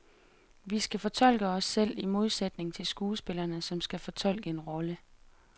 Vi skal fortolke os selv, i modsætning til skuespillerne, som skal fortolke en rolle.